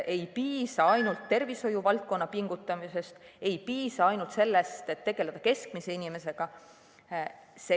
Ei piisa ainult tervishoiuvaldkonna pingutusest, ei piisa ainult sellest, et tegeleda keskmise inimesega.